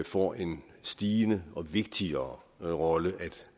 får en stigende og vigtigere rolle at